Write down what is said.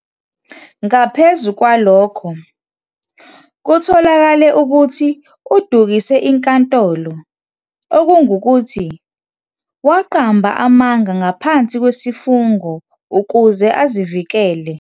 Ngaphezu kwalokho, kutholakale ukuthi udukise inkantolo - okungukuthi, waqamba amanga ngaphansi kwesifungo - ukuze azivikele.